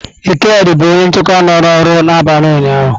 Ikedi bụ onye nchekwa nọ n'ọrụ n'abalị ụnyaahụ.